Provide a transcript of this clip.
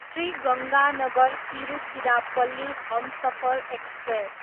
Shri Ganganagar, Tiruchirappalli Humsafar express